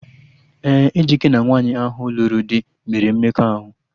Ee, Ejike na nwaanyị ahụ lụrụ do mere mmekọahụ